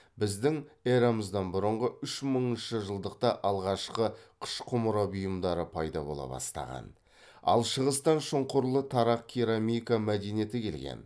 біздің эрамыздан бұрынғы үш мыңыншы жылдықта алғашқы қыш құмара бұйымдары пайда бола бастаған ал шығыстан шұңқырлы тарақ керамика мәдениеті келген